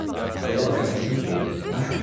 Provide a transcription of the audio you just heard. Belə başa düşdüm ki, məşq qurtardı.